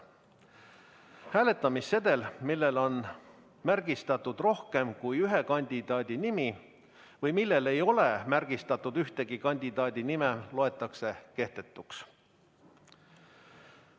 Hääletamissedel, millel on märgistatud rohkem kui ühe kandidaadi nimi või millel ei ole märgistatud ühegi kandidaadi nime, loetakse kehtetuks.